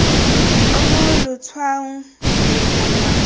o mo letshwaong leno lwa